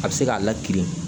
A bɛ se k'a lakirin